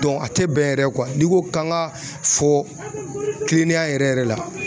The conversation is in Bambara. a tɛ bɛn yɛrɛ n'i ko k'an ka fɔ tilennenya yɛrɛ la